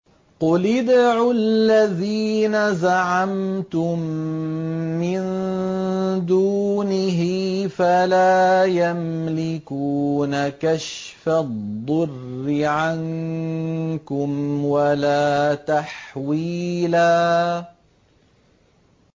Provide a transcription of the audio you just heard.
قُلِ ادْعُوا الَّذِينَ زَعَمْتُم مِّن دُونِهِ فَلَا يَمْلِكُونَ كَشْفَ الضُّرِّ عَنكُمْ وَلَا تَحْوِيلًا